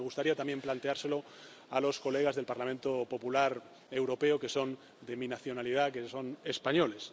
Me gustaría también planteárselo a los diputados del Parlamento Popular Europeo que son de mi nacionalidad, que son españoles.